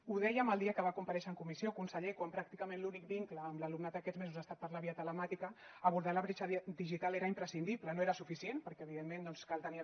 ho dèiem el dia que va comparèixer en comissió conseller quan pràcticament l’únic vincle amb l’alumnat aquests mesos ha estat per la via telemàtica abordar la bretxa digital era imprescindible no era suficient perquè evidentment doncs cal tenir a